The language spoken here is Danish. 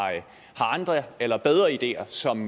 andre eller bedre ideer som